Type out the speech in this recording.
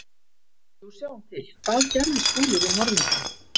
Jú, sjáum til: Hvað gerði Skúli við morðingjann?